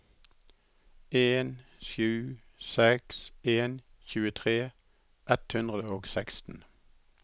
en sju seks en tjuetre ett hundre og seksten